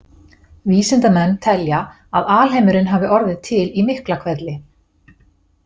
Vísindamenn telja að alheimurinn hafi orðið til í Miklahvelli.